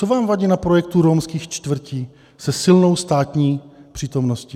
Co vám vadí na projektu romských čtvrtí se silnou státní přítomností?